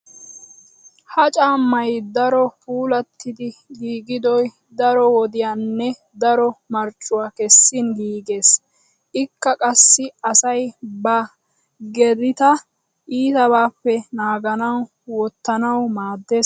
Ha caammay darro puulattidi giigidoy daro wodiyanne daro marccuwa kessin giigees. Ikka qassi asay ba gedita iitabaappe naaganawu wottanawu maaddees.